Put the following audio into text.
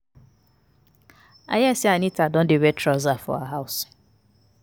I hear say Anita don dey wear trouser for her house